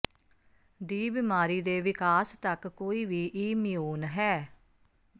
ਦੀ ਬਿਮਾਰੀ ਦੇ ਵਿਕਾਸ ਤੱਕ ਕੋਈ ਵੀ ਇਮਿਊਨ ਹੈ